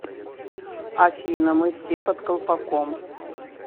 афина мы все под колпаком